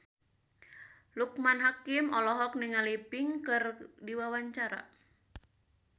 Loekman Hakim olohok ningali Pink keur diwawancara